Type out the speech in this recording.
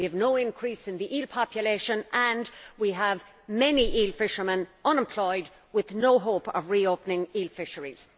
We have no increase in the eel population and we have many eel fishermen unemployed with no hope of re opening eel fisheries.